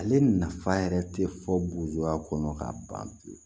Ale nafa yɛrɛ tɛ fɔ bujuwa kɔnɔ k'a ban pewu